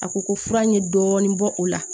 A ko ko fura ye dɔɔnin bɔ o la